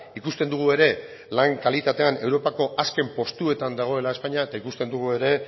ikusten dugu ere lan kalitatean europako azken postuetan dagoela espainia eta ikusten dugu ere